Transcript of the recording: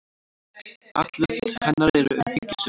Atlot hennar eru umhyggjusöm.